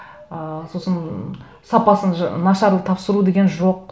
ыыы сосын сапасын нашар тапсыру деген жоқ